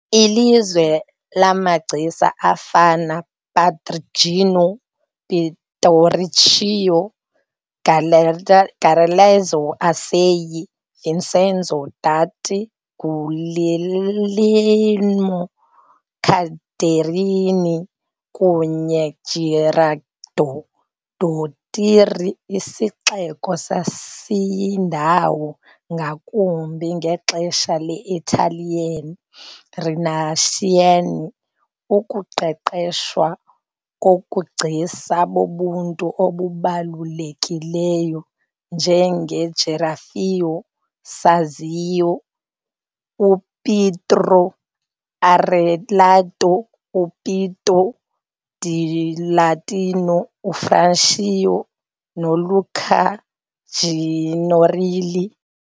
Ilizwe lamagcisa afana Perugino, Pinturicchio, Galeazzo Alessi, Vincenzo Danti, Guglielmo Calderini kwaye Gerardo Dottori, isixeko sasiyindawo - ngakumbi ngexesha le- Italian Renaissance - ukuqeqeshwa kobugcisa bobuntu obubalulekileyo njengoRaffaello Sanzio, uPietro Arellatino, uPietro dellatino UFrancesca noLuca Signorelli .